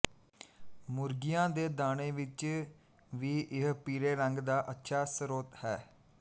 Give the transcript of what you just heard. ਮੁਰਗੀਆਂ ਦੇ ਦਾਣੇ ਵਿੱਚ ਵੀ ਇਹ ਪੀਲੇ ਰੰਗ ਦਾ ਅੱਛਾ ਸਰੋਤ ਹੈ